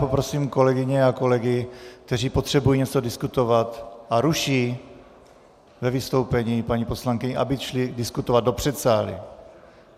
Poprosím kolegyně a kolegy, kteří potřebují něco diskutovat a ruší ve vystoupení paní poslankyni, aby šli diskutovat do předsálí.